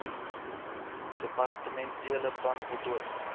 departementele plan voltooi